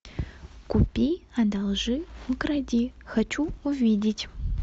купи одолжи укради хочу увидеть